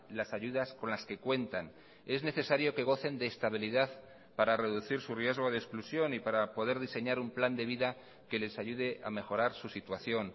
las ayudas con las que cuentan es necesario que gocen de estabilidad para reducir su riesgo de exclusión y para poder diseñar un plan de vida que les ayude a mejorar su situación